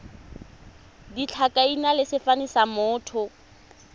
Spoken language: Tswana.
ditlhakaina le sefane sa motho